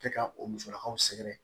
Kɛ ka o musakaw sɛgɛrɛ